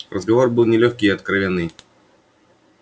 разговор был нелёгкий и откровенный